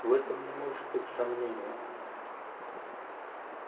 в этом не может быть сомнения